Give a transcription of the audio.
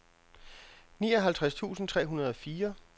nioghalvtreds tusind tre hundrede og fire